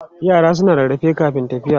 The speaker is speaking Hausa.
Yara suna rarrafe kafin tafiya.